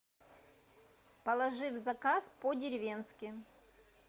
положи в заказ по деревенски